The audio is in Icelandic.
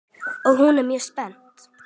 Og hún er mjög spennt.